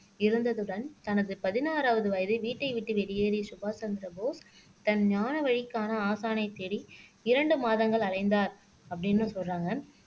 இருந்ததுடன் தனது பதினாறாவது வயதில் வீட்டை விட்டு வெளியேறிய சுபாஷ் சந்திரபோஸ் தன் ஞான வழிக்கான ஆசானைத் தேடி இரண்டு மாதங்கள் அலைந்தார் அப்படின்னு சொல்றாங்க